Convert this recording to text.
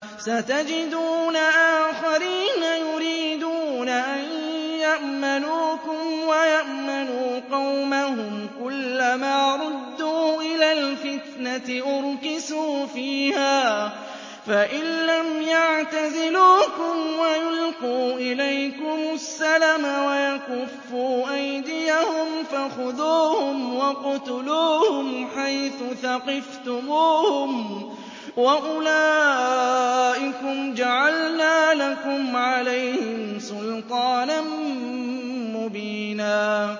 سَتَجِدُونَ آخَرِينَ يُرِيدُونَ أَن يَأْمَنُوكُمْ وَيَأْمَنُوا قَوْمَهُمْ كُلَّ مَا رُدُّوا إِلَى الْفِتْنَةِ أُرْكِسُوا فِيهَا ۚ فَإِن لَّمْ يَعْتَزِلُوكُمْ وَيُلْقُوا إِلَيْكُمُ السَّلَمَ وَيَكُفُّوا أَيْدِيَهُمْ فَخُذُوهُمْ وَاقْتُلُوهُمْ حَيْثُ ثَقِفْتُمُوهُمْ ۚ وَأُولَٰئِكُمْ جَعَلْنَا لَكُمْ عَلَيْهِمْ سُلْطَانًا مُّبِينًا